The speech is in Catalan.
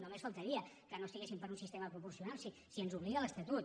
només faltaria que no estiguessin per un sistema proporcional si ens hi obliga l’estatut